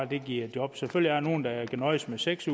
der giver job selvfølgelig er der nogle der kan nøjes med seks